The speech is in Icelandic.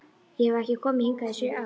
Ég hef ekki komið hingað í sjö ár